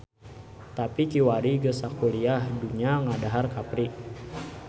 Tapi kiwari geus sakuliah dunya ngadahar kapri.